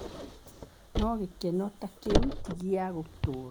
No gĩkeno ta kĩu ti gĩa gũtũũra.